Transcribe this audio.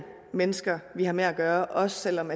mennesker vi har med at gøre også selv om